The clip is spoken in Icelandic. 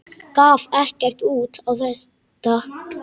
Gaf ekkert út á þetta.